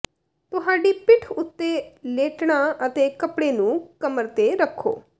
ਤੁਹਾਡੀ ਪਿੱਠ ਉੱਤੇ ਲੇਟਣਾ ਅਤੇ ਕਪੜੇ ਨੂੰ ਕਮਰ ਤੇ ਰੱਖੋ